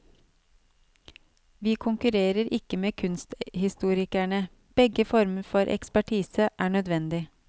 Vi konkurrerer ikke med kunsthistorikerne, begge former for ekspertise er nødvendig.